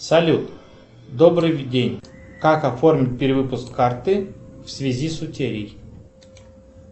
салют добрый день как оформить перевыпуск карты в связи с утерей